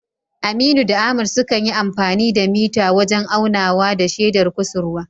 Aminu da Ahmad sukan yi amfani da mita wajen aunawa da shedar kusurwa